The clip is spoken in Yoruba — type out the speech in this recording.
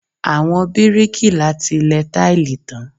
Àwọn bíríkìlà ti lẹ táìlì tán.